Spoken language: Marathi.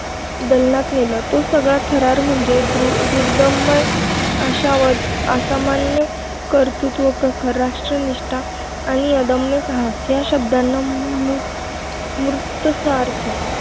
दालनात नेलं तो सगळा थरार म्हणजे दुर्दम्य आशावाद, असामान्य कर्तृत्व, प्रखर राष्ट्रनिष्ठा आणि अदम्य साहस ह्या शब्दांना मूर्तपणे सार्थ